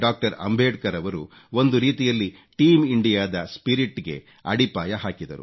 ಅಂಬೇಡ್ಕರ್ ರವರು ಒಂದು ರೀತಿಯಲ್ಲಿ ಟೀಮ್ ಇಂಡಿಯಾ ದ ಸ್ಪಿರಿಟ್ ಗೆ ಅಡಿಪಾಯ ಹಾಕಿದರು